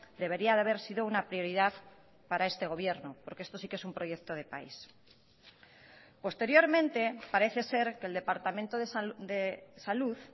debería haber sido una prioridad para este gobierno porque esto sí que es un proyecto de país posteriormente parece ser que el departamento de salud